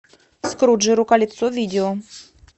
скруджи рукалицо видео